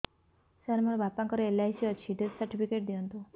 ସାର ମୋର ବାପା ଙ୍କର ଏଲ.ଆଇ.ସି ଅଛି ଡେଥ ସର୍ଟିଫିକେଟ ଦିଅନ୍ତୁ